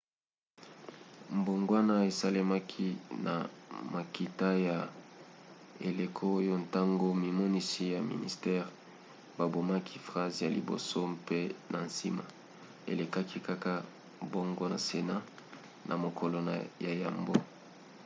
mbongwana esalemaki na makita ya eleko oyo ntango mimonisi ya ministere babomaki phrase ya liboso mpe na nsima elekaki kaka bongo na senat na mokolo ya yambo